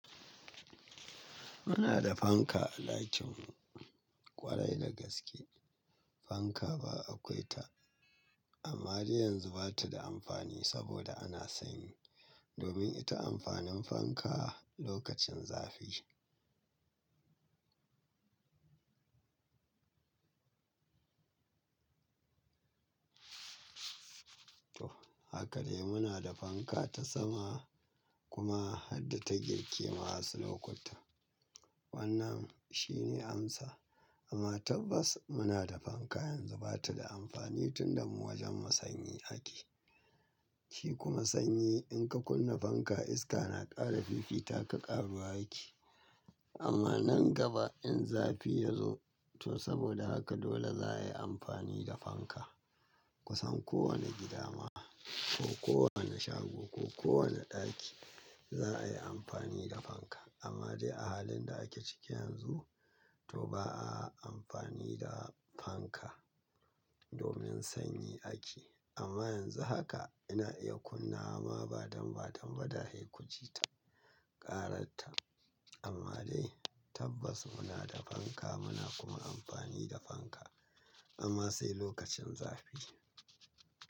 Muna da fanka a ɗakin mu ƙwarai da gaske fanka ba akwai ta amma dai yanzu bata da amfani saboda ana sanyi domin ita amfanin fanka lokacin zafi. To hakadai munada fanka ta sama kuma harda ta girke ma wasu lokutan, wannan shine amsan. Amma tabbas munada fanka yanzu bata da amfani tunda mu wajenmu sanyi ake. Shi kuma sanyi in ka kunna fanka iska na ƙara fifita ka ƙaruwa yake amma nan gaba in zafi yazo to saboda haka dole za a yi amfani da fanka. Kusan kowane gida ma ko kowane shago ko kowane ɗaki za a yi amfani da fanka amma dai a halin da ake ciki yanzu to ba a amfani da fanka domin sanyi ake amma yanzu haka ina iya kunnaw ama ba damba damba da haikuji ta ƙarar ta amma dai tabbas muna da fanka muna kuma amfani da fanka amma sai lokacin zafi.